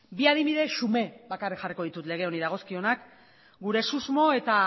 bi adibide xume bakarrik jarriko ditut lege honi dagozkionak gure susmo eta